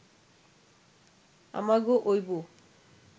আমাগো অইব